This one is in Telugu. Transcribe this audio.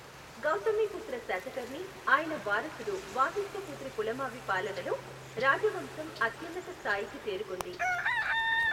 గౌతమీపుత్ర శాతకర్ణి, ఆయన వారసుడు వాసిష్ఠిపుత్ర పులమావి పాలనలో రాజవంశం అత్యున్నత స్థాయికి చేరుకుంది.